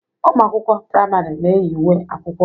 Ụmụ akwụkwọ prìamari na-eyi uwe akwụkwọ.